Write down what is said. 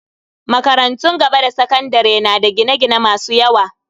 Makarantun gaba da sakandare na da gine-gine masu yawa.